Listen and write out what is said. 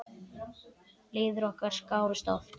Leiðir okkar skárust oft.